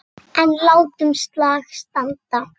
En látum slag standa.